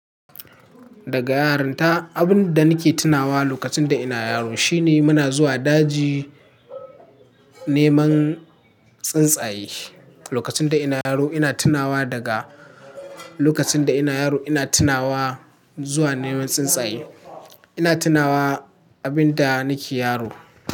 Daga yarinta, abin da nake tunawa lokacin da ina yaro shine muna zuwa daji neman tsuntsaye. Lokacin da ina yaro ina tunawa daga-- lokacin da ina yaro ina tunawa zuwa neman tsuntsaye. Ina tunawa abin da nake yaro.